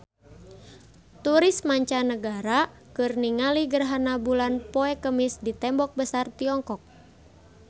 Turis mancanagara keur ningali gerhana bulan poe Kemis di Tembok Besar Tiongkok